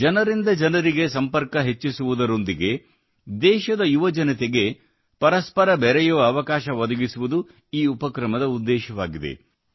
ಜನರಿಂದ ಜನರಿಗೆ ಸಂಪರ್ಕ ಹೆಚ್ಚಿಸುವುದರೊಂದಿಗೆ ದೇಶದ ಯುವಜನತೆಗೆ ಪರಸ್ಪರ ಬೆರೆಯುವ ಅವಕಾಶ ಒದಗಿಸುವುದು ಈ ಉಪಕ್ರಮದ ಉದ್ದೇಶವಾಗಿದೆ